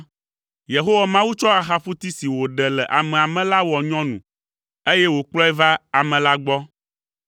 Yehowa Mawu tsɔ axaƒuti si wòɖe le amea me la wɔ nyɔnu, eye wòkplɔe va ame la gbɔ.